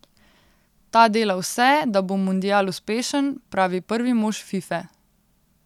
Ta dela vse, da bo mundial uspešen, pravi prvi mož Fife.